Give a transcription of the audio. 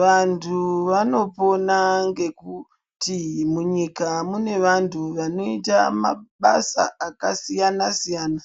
Vanhu vanopona ngekuti munyika mune vanhu vanoita mabasa akasiyana siyana